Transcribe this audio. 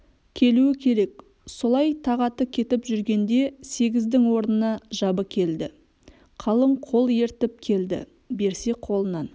келуі керек солай тағаты кетіп жүргенде сегіздің орнына жабы келді қалың қол ертіп келді берсе қолынан